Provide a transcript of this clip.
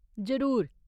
जरूर।